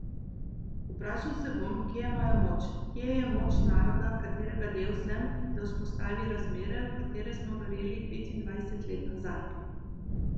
Vprašal se bom, kje je moja moč, kje je moč naroda, katerega del sem, da vzpostavi razmere, v katere smo verjeli petindvajset let nazaj.